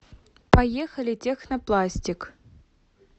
поехали технопластик